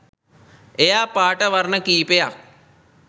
එයා පාට වර්ණ කීපයක්